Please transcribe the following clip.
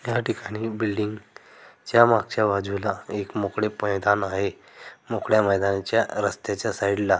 या ठिकाणी बिल्डिंग च्या मागच्या बाजूला एक मोकळे मैदान आहे मोकळ्या मैदानाच्या रस्त्याच्या साइड ला--